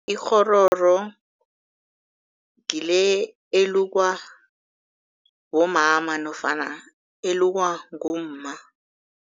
Ikghororo ngile elukwa bomama nofana elukwa ngumma.